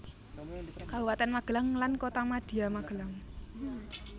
Kabupatèn Magelang lan Kotamadya Magelang